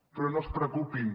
però no es preocupin